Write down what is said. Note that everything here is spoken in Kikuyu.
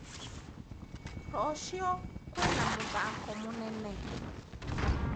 Rũciũ kwina mũthako mũnene?